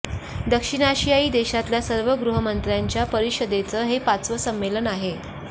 दक्षिण आशियायी देशातल्या सर्व गृहमंत्र्यांच्या परिषदेचं हे पाचवं संम्मेलन आहे